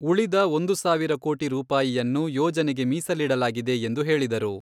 ಉಳಿದ ಒಂದು ಸಾವಿರ ಕೋಟಿ ರೂಪಾಯನ್ನು ಯೋಜನೆಗೆ ಮೀಸಲಿಡಲಾಗಿದೆ ಎಂದು ಹೇಳಿದರು.